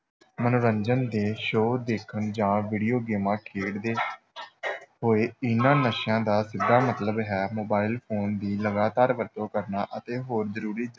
ਮਨੋਰੰਜਨ ਦੇ show ਦੇਖਣ ਜਾਂ video ਗੇਮਾਂ ਖੇਡਦੇ ਹੋਏ, ਇਹਨਾਂ ਨਸ਼ਿਆਂ ਦਾ ਸਿੱਧਾ ਮਤਲਬ ਹੈ mobile phone ਦੀ ਲਗਾਤਾਰ ਵਰਤੋਂ ਕਰਨਾ ਅਤੇ ਹੋਰ ਜ਼ਰੂਰੀ